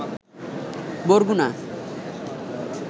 Barguna